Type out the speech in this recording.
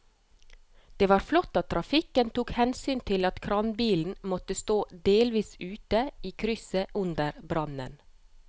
Det var flott at trafikken tok hensyn til at kranbilen måtte stå delvis ute i krysset under brannen.